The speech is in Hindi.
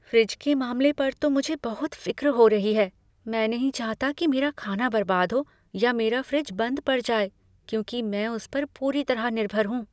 फ्रिज के मामले पर तो मझे बहुत फ़िक्र हो रही है, मैं नहीं चाहता कि मेरा खाना बर्बाद हो या मेरा फ्रिज बंद पढ़ जाए, क्योंकि मैं उस पर पूरी तरह निर्भर हूँ।